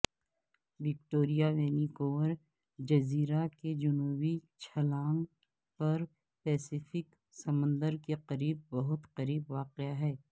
Victoria Vancouver جزیرہ کے جنوبی چھلانگ پر پیسفک سمندر کے قریب بہت قریب واقع ہے